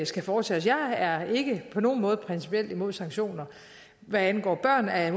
skal foretage jeg er ikke på nogen måde principielt imod sanktioner hvad angår børn har jeg